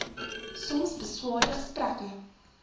soms beswaarde gesprekke